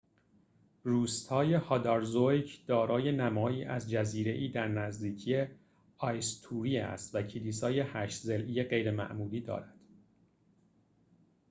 روستای «هادارزویک» hadarsvik دارای نمایی از جزیره‌ای در نزدیکی «آیستوروی» eysturoy است و کلیسای هشت‌ضلعی غیرمعمولی دارد